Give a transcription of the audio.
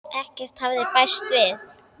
Ekkert hafði bæst við.